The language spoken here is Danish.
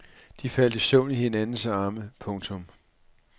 De faldt i søvn i hinandens arme. punktum